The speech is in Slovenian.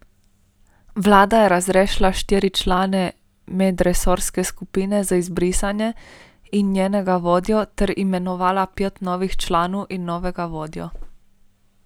Vlada je razrešila štiri člane medresorske skupine za izbrisane in njenega vodjo ter imenovala pet novih članov in novega vodjo.